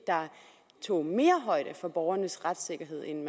tog mere højde for borgernes retssikkerhed end